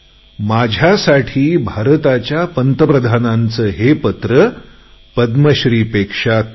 माझ्यासाठी भारताच्या पंतप्रधानांचे हे पत्र पद्मश्रीपेक्षा कमी नाही